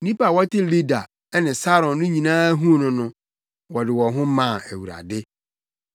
Nnipa a wɔte Lida ne Saron no nyinaa huu no no, wɔde wɔn ho maa Awurade.